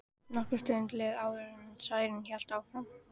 Nokkur stund leið áður en Særún hélt áfram.